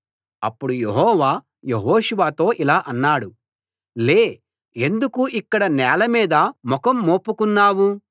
అప్పుడు యెహోవా యెహోషువతో ఇలా అన్నాడు లే ఎందుకు ఇక్కడ నేల మీద ముఖం మోపుకున్నావు